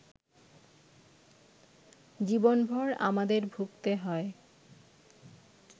জীবনভর আমাদের ভুগতে হয়